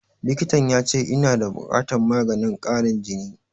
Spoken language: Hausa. Likitan ya ce ina da buƙatan maganin ƙarin jini